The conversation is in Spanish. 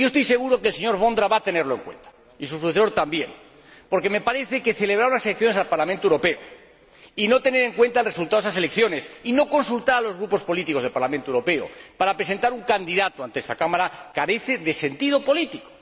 Estoy seguro de que el señor Vondra va a tenerlo en cuenta y su sucesor también, porque me parece que celebrar unas elecciones al Parlamento Europeo y no tener en cuenta el resultado de esas elecciones y no consultar a los grupos políticos del Parlamento Europeo para presentar un candidato ante esta Cámara carece de sentido político.